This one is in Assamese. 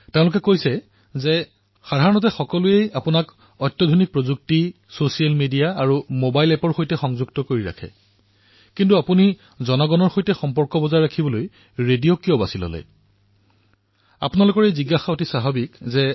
তেওঁলোকে কৈছে যে প্ৰায়েই জনতাই আপোনাক শেহতীয়া প্ৰযুক্তি ছচিয়েল মিডিয়া আৰু মবাইল এপৰ জৰিয়তে যোগাযোগ কৰে কিন্তু আপুনি জনতাৰ সৈতে জড়িত হোৱাৰ বাবে ৰেডিঅ কিয় বাচনি কৰিলে আপোনালোকৰ এই জিজ্ঞাসা স্বাভাৱিক